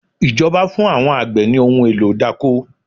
Ìjọba fún àwọn àgbẹ̀ ní ohun èlò idáko